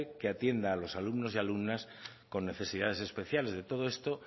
que atienda a los alumnos y alumnas con necesidades especiales de todo esto